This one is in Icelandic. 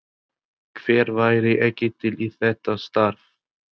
Hver væri ekki til í þetta starf?